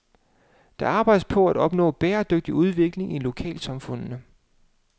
Der arbejdes på at opnå bæredygtig udvikling i lokalsamfundene.